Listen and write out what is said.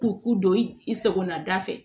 K'u don i sagona da fɛ